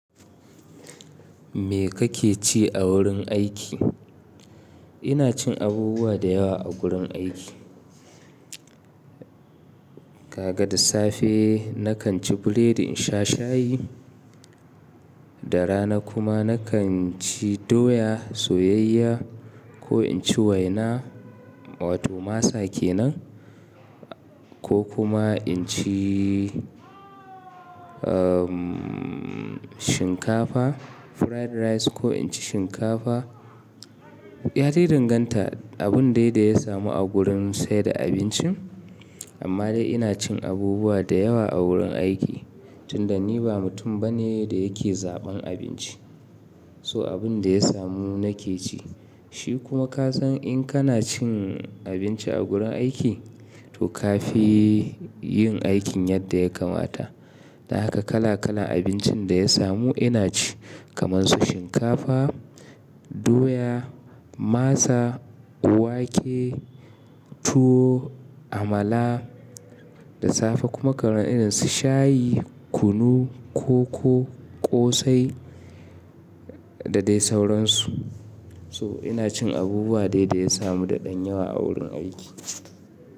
Me kake ci a wurin aiki? Ina cin abubuwa da yawa a gurin aiki. Kaga, da safe na kan ci biredi in sha shayi, da rana kuma na kan ci doya soyayya ko in ci waina, wato masa kenan, ko kuma in ci, umm, shinkafa fried rice ko in ci shinkafa. Ya dai danganta abin dai da ya samu a gurin saida abincin. Amma dai ina cin abubuwa da yawa a wurin aiki, tun da ni ba mutum bane da yake zaɓan abinci. So abin da ya samu na ke ci. Shi kuma ka san in kana cin abinci a gurin aiki, to ka fi yin aikin yadda ya kamata. Dan haka kala kalan abincin da ya samu ina ci, kamar su shinkafa, doya, masa, wake, tuwo, amala. Da safe kuma kalan irin su shayi, kunu, koko, ƙosai da dai sauransu. So ina cin abubuwa dai da ya samu da ɗan yawa a wurin aiki.